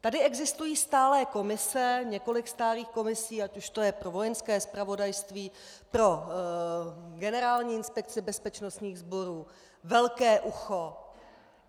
Tady existují stálé komise, několik stálých komisí, ať už to je pro Vojenské zpravodajství, pro Generální inspekci bezpečnostních sborů, velké ucho.